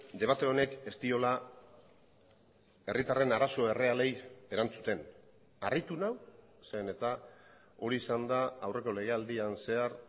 debate honek ez diola herritarren arazo errealei erantzuten harritu nau zeren eta hori izan da aurreko legealdian zehar